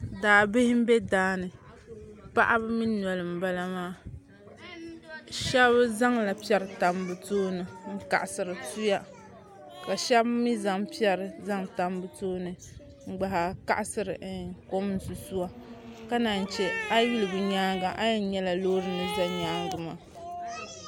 Daabihi n bɛ daani paɣaba mii noli n bala maa shab zaŋla piɛri tam bi tooni n laɣasiri tuya ka shab mii zaŋ piɛri n zaŋ tam bi tooni n gba haa kaɣasiri kom n susuwa ka naan chɛ a yi yuli bi nyaanga a yɛn nyɛla loori ni ʒɛ nyaangi maa